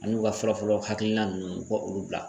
An'u ka fɔlɔfɔlɔ hakilina nunnu u ka olu bila